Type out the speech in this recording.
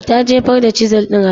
Ta jefar da Chisel ɗin a kasa.